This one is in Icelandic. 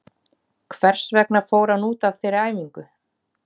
Hvers vegna fór hann út af þeirri æfingu?